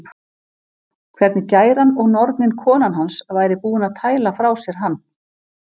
Hvernig gæran og nornin konan hans væri búin að tæla frá sér hann